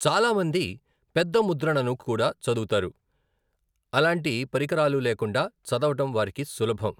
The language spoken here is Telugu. చాలామంది పెద్ద ముద్రణను కూడా చదువుతారు, అలాంటి పరికరాలు లేకుండా చదవడం వారికి సులభం.